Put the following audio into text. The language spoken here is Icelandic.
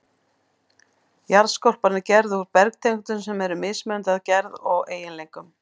Jarðskorpan er gerð úr bergtegundum sem eru mismunandi að gerð og eiginleikum.